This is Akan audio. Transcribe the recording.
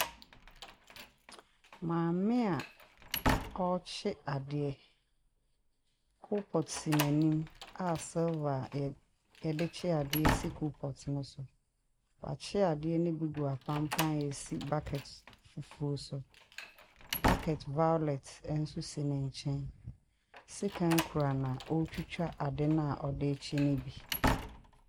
Maame a ɔrekye adeɛ. Kolpɔt si n'anim a silver a yɛdekye adeɛ si kolpɔt no so. Wɔakye adeɛ no bi gu apanpan a esi bucket fufuo so. Bucket violet ɛnso esi nenkyɛn. Sekan kura no a ɛdetwitwa ade na ɔɔkye no bi.